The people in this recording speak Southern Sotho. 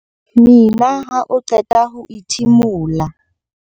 Mina ha o qeta ho ithimola.